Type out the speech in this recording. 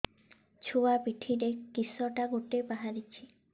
ଛୁଆ ପିଠିରେ କିଶଟା ଗୋଟେ ବାହାରିଛି